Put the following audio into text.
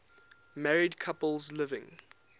married couples living